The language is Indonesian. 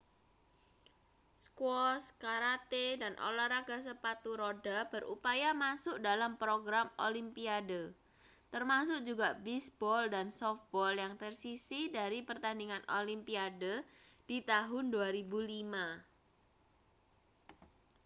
squash karate dan olahraga sepatu roda berupaya masuk dalam program olimpiade termasuk juga bisbol dan sofbol yang tersisih dari pertandingan olimpiade di tahun 2005